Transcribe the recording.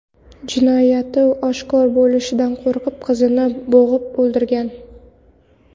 jinoyati oshkor bo‘lishidan qo‘rqib qizni bo‘g‘ib o‘ldirgan.